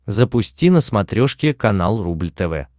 запусти на смотрешке канал рубль тв